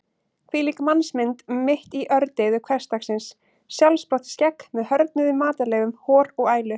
Hvílík mannsmynd mitt í ördeyðu hversdagsins: sjálfsprottið skegg með hörðnuðum matarleifum, hor og ælu.